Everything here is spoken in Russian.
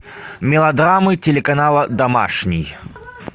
мелодрамы телеканала домашний